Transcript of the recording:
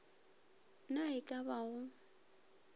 na e ka ba go